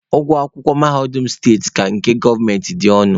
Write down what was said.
Ụgwọ akwụkwọ mahadum steeti ka nke gọọmenti dị ọnụ.